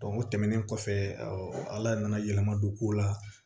o tɛmɛnen kɔfɛ ala nana yɛlɛma don kow la